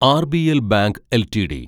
RBL bank LTD